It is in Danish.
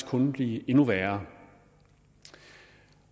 kun vil blive endnu værre